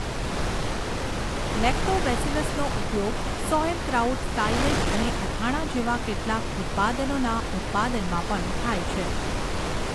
લેક્ટોબેસિલસનો ઉપયોગ sauerkraut silage અને અથાણાં જેવા કેટલાક ઉત્પાદનોના ઉત્પાદનમાં પણ થાય છે.